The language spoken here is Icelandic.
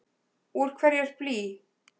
Úr hverju er blý?